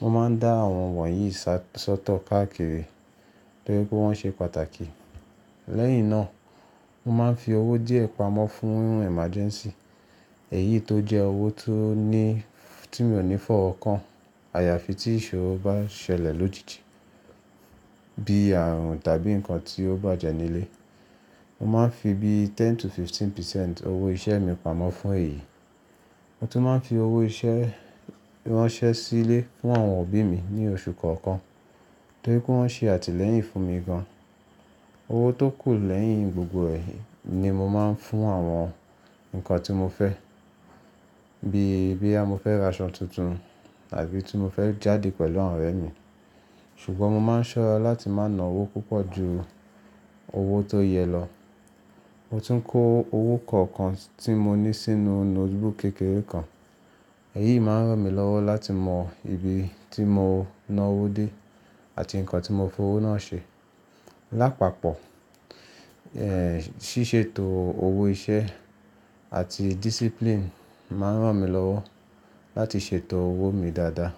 Mo máa ń dá àwọn wọ̀nyí sọ́tọ̀ káàkiri torí pé wọ́n ṣe pàtàkì. Lẹ́yìn náà, mo máa ń fi owó díẹ̀ pamọ́ fún ohun emergency. Èyí tó jẹ́ owó tó ní tí mi ò ní fọ́wọ kàn. Àyàfi tí ìṣòro bá ṣẹlẹ̀ lójijì bíi ààrùn tàbí ǹkan tí ó bàjẹ́ nílé. Mo máa ń fi bíi ten to fifteen percent owó ìṣe mi pamọ́ fún èyí. Mo tún máa ń fi owó ìṣe ránṣẹ́ sílé fún àwọn òbí mi ní oṣù kọ̀ọ̀kan torí pé wọ́n ṣe àtìlẹ́yìn fún mi gan. Owó tó kù lẹ́yìn gbogbo è ni mo máa ń fún àwọn ǹkan tí mo fẹ́ bíi boya mo fẹ́ ra aṣọ tuntun tàbí tí mo fẹ́ jáde pẹ̀lú àwọn ọ̀rẹ́ mi. Ṣùgbọ́n mo máa ń ṣọ́ra láti má na owó púpọ̀ ju owó tó yẹ lọ. Mo tún ń kó owó kọ̀ọ̀kan tí mo ní sínú nótebook kékeré kan. Èyí máa ń ràn mí lọ́wọ́ láti mọ ibi tí mo ná owó dé àti ǹkan tí mo fi owó náà ṣe. Lápapọ̀, ẹ́ ṣíṣètò owó ìṣe àti discipline máa ń ràn mí lọ́wọ́ láti ṣètò owó mi dáadáa.